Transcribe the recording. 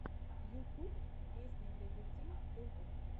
ютуб песни для детей тв